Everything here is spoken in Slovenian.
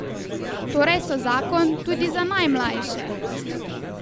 Torej so zakon, tudi za najmlajše!